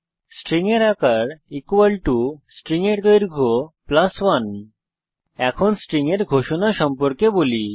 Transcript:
string এর আকার string এর দৈর্ঘ্য 1 এখন স্ট্রিং এর ঘোষণা সম্পর্কে বলি